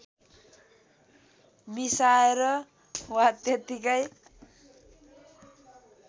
मिसाएर वा त्यतिकै